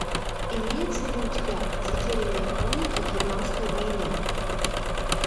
имеется ли у тебя затерянные хроники вьетнамской войны